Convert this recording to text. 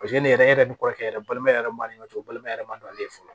Paseke ne yɛrɛ ni kɔrɔkɛ yɛrɛ balimaya yɛrɛ man ne ka so balima yɛrɛ ma ale ye fɔlɔ